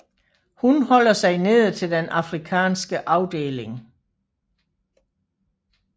Hun holder sig nede til den Afrikanske afdeling